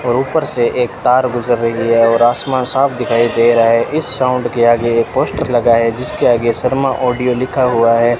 और ऊपर से एक तार गुजर रही है और आसमान साफ दिखाई दे रहा है इस साउंड के आगे पोस्टर लगा है जिसके आगे शर्मा ऑडियो लिखा हुआ है।